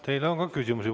Teile on ka küsimusi.